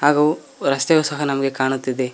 ಹಾಗೂ ರಸ್ತೆಯು ಸಹ ನಮಗೆ ಕಾಣುತ್ತಿದೆ.